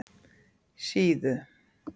Síðu